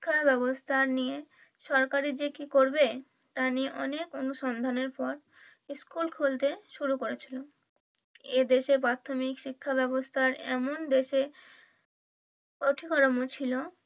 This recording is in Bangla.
শিক্ষা ব্যবস্থা নিয়ে সরকারি যে কি করবে তা নিয়ে অনেক অনুসন্ধানের পর স্কুল খুলতে শুরু করেছিল। এ দেশে প্রাথমিক শিক্ষা ব্যবস্থার এমন দেশে ছিল